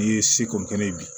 N'i ye seko kɛ n'i ye bi